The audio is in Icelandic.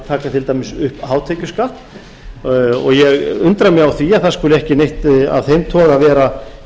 taka til dæmis upp hátekjuskatt og ég undra mig á því að það skuli ekki neitt af þeim toga vera